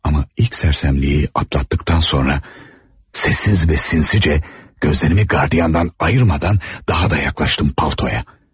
Amma ilk sərsəmliyi atlatdıqdan sonra, səssiz və sinsicə, gözlərimi qardiyandan ayırmadan daha da yaxınlaşdım paltaya.